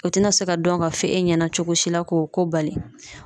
O tɛna se ka dɔn ka fɔ e ɲɛna cogo si la k'o ko bali.